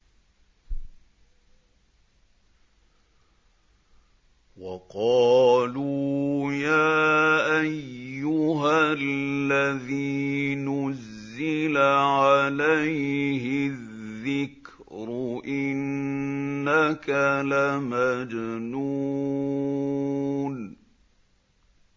وَقَالُوا يَا أَيُّهَا الَّذِي نُزِّلَ عَلَيْهِ الذِّكْرُ إِنَّكَ لَمَجْنُونٌ